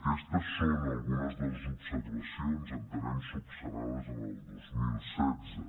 aquestes són algunes de les observacions entenem solucionades el dos mil setze